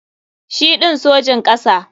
Shi ɗin Sojin kasa.